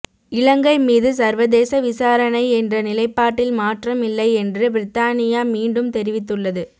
இலங்கை மீது சர்வதேச விசாரணை என்ற நிலைப்பாட்டில் மாற்றம் இல்லை என்று பிரித்தானியா மீண்டும் தெரிவித்துள்ளது